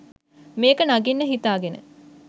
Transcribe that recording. මේක නගින්න හිතාගෙන